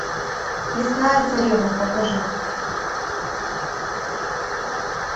лесная царевна покажи